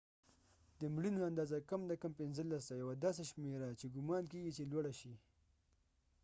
د مړینو اندازه کم نه کم 15 ده یوه داسې شمیره چې ګمان کېږی چې لوړه شي